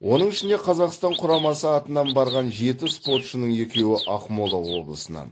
оның ішінде қазақстан құрамасы атынан барған жеті спортшының екеуі ақмола облысынан